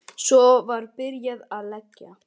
Svo var byrjað að leggja.